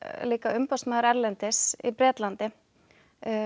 líka umboðsmaður erlendis í Bretlandi